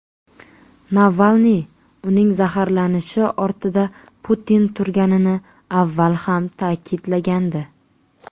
Navalniy uning zaharlanishi ortida Putin turganini avval ham ta’kidlagandi .